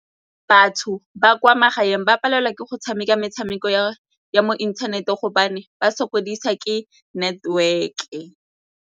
Batho ba kwa magaeng ba palelwa ke go tshameka metshameko ya mo inthaneteng gobane ba sokodisa ke network-e.